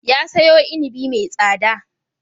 Ya sayo inibi mai tsada.